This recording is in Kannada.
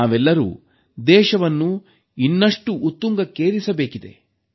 ನಾವೆಲ್ಲರೂ ದೇಶವನ್ನು ಇನ್ನಷ್ಟು ಉತ್ತುಂಗಕ್ಕೇರಿಸಬೇಕಿದೆ